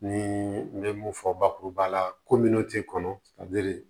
Ni n ye mun fɔ bakuruba la ko min t'i kɔnɔ ka